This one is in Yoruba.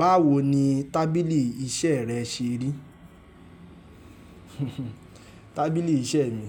Báwo ni tábìlì iṣẹ́ rẹ ṣe rí? Tábìlì iṣẹ́ mi,